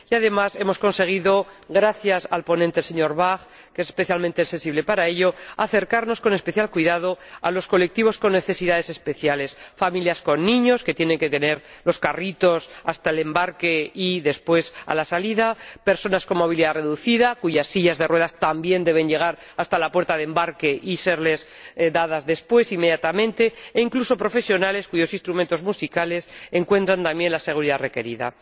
Y, además, hemos conseguido, gracias al ponente, señor Bach, que es especialmente sensible a estos aspectos, acercarnos con especial cuidado a los colectivos con necesidades especiales familias con niños que tienen que llevar los carritos hasta el embarque y recogerlos después a la salida, personas con movilidad reducida cuyas sillas de ruedas también deben llegar hasta la puerta de embarque y serles dadas después, al desembarcar, inmediatamente, e incluso profesionales cuyos instrumentos musicales encuentran también la seguridad requerida.